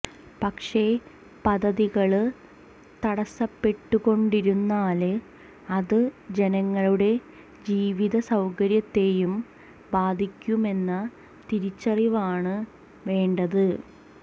പക്ഷെ പദ്ധതികള് തടസപ്പെട്ടുകൊണ്ടിരുന്നാല് അത് ജനങ്ങളുടെ ജീവിത സൌകര്യത്തെയും ബാധിക്കുമെന്ന തിരിച്ചറിവാണ് വേണ്ടത്